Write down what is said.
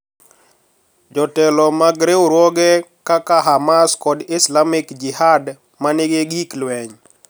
Jotelo mag riwruoge kaka Hamas kod Islamic Jihad ma nigi gik lweny